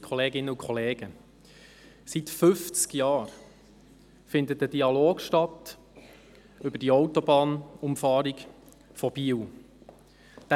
Seit fünfzig Jahren findet ein Dialog über die Autobahnumfahrung von Biel statt.